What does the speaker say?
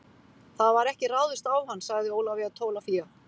Það var ekki ráðist á hann, sagði Ólafía Tólafía.